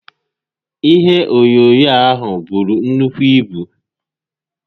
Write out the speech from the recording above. Ihe onyoonyoo a buru nnukwu ibu